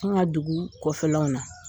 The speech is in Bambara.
An ka dugu kɔfɛlanw na.